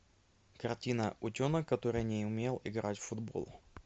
картина утенок который не умел играть в футбол